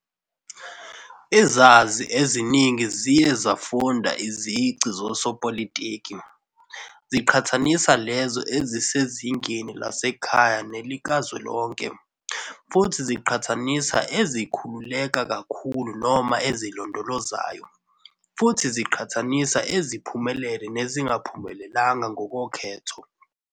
Izazi eziningi ziye zafunda izici zosopolitiki, ziqhathanisa lezo ezisezingeni lasekhaya nelikazwelonke, futhi ziqhathanisa ezikhululeka kakhulu noma ezilondolozayo, futhi ziqhathanisa eziphumelele nezingaphumeleli ngokwokhetho.